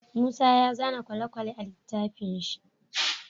Musa ya zana kwale kwale a litafin shi